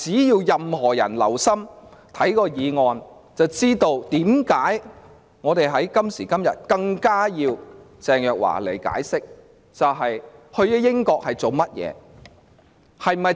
任何人只要留心議案內容，自會知道為何我們今時今日更加需要鄭若驊前來解釋她到英國的目的。